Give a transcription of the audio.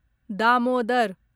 Damodar